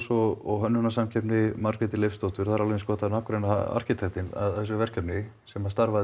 og hönnunarsamkeppni Margréti Leifsdóttur það er alveg eins gott að nafngreina arkitektinn að þessu verkefni sem